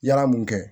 Yala mun kɛ